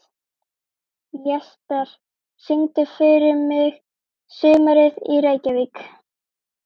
Jesper, syngdu fyrir mig „Sumarið í Reykjavík“.